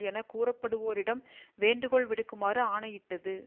என கூறப்படுவோரிடம் வேண்டுகோள் விடுக்குமாறு ஆணையிட்டது